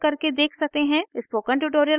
spoken tutorial project team: